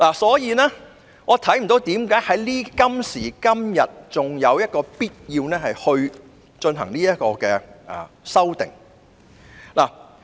所以，我看不到今時今日仍有必要進行這項修訂。